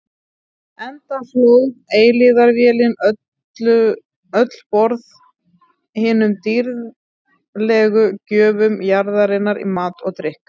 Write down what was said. Enda hlóð eilífðarvélin öll borð hinum dýrðlegu gjöfum jarðarinnar í mat og drykk.